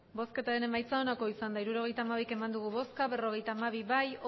emandako botoak hirurogeita hamabi bai berrogeita hamabi ez